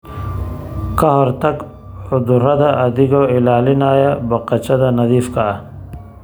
Ka hortag cudurada adigoo ilaalinaya baqashada nadiifka ah.